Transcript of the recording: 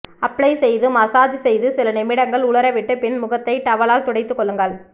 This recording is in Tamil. அப்ளை செய்து மசாஜ் செய்து சில நிமிடங்கள் உலர விட்டுப் பின் முகத்தை டவலால் துடைத்துக் கொள்ளுங்கள்